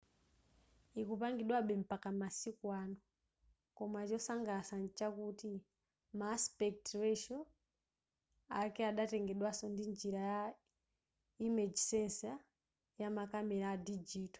ikupangidwabe mpaka masiku ano koma chotsangalatsa mchakuti ma aspect ratio ake adatengedwaso ndi njira ya image sensor yamakamera a digital